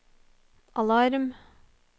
alarm